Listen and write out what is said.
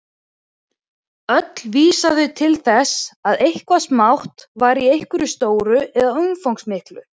Öll vísa þau til þess að eitthvað smátt er í einhverju stóru eða umfangsmiklu.